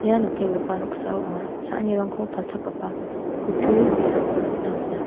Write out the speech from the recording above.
ia nikenggipa noksao anga cha·anirangko palchakgipa kutturi ge·sako nikna man·a.